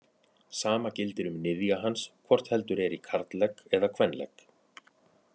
Sama gildir um niðja hans hvort heldur er í karllegg eða kvenlegg.